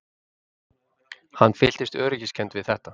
Hann fyllist öryggiskennd við þetta.